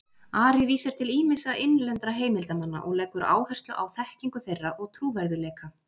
Ari vísar til ýmissa innlendra heimildarmanna og leggur áherslu á þekkingu þeirra og trúverðugleika.